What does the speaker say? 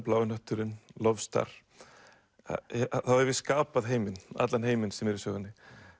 blái hnötturinn LoveStar þá hef ég skapað heiminn allan heiminn sem er í sögunni